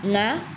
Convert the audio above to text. Nka